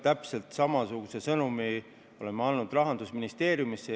Täpselt samasuguse sõnumi olen ma andnud Rahandusministeeriumisse.